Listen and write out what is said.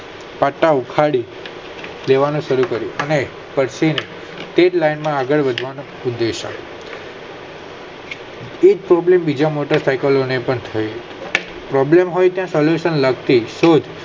પટા ઉખાડી દેવાનો શરુ કરીયો અને પછી તે જ લાઈન ને આગળ વધતા ઉપદેશય એજ Problem બીજા ના માટે થાય Problem હોય ત્યાં Solution પણ હોય